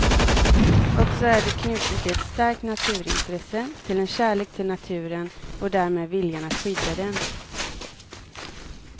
Och så är det knutet till ett starkt naturintresse, till en kärlek till naturen och därmed viljan att skydda den.